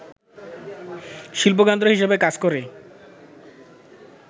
শিল্পকেন্দ্র হিসেবে কাজ করে